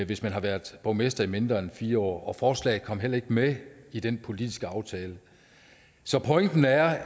hvis man har været borgmester i mindre end fire år forslaget kom heller ikke med i den politiske aftale så pointen er